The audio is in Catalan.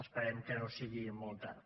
esperem que no sigui molt tard